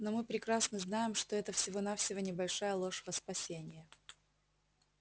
но мы прекрасно знаем что это всего-навсего небольшая ложь во спасение